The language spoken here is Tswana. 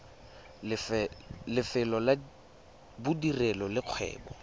lefelo la bodirelo le kgwebo